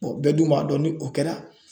bɛɛ dun b'a dɔn ni o kɛra.